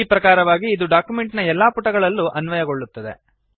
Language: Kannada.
ಈ ಪ್ರಕಾರವಾಗಿ ಇದು ಡಾಕ್ಯುಮೆಂಟ್ ನ ಎಲ್ಲಾ ಪುಟಗಳಲ್ಲೂ ಅನ್ವಯಗೊಳ್ಳುತ್ತದೆ